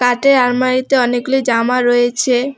কাঠের আলমারিতে অনেকগুলি জামা রয়েছে।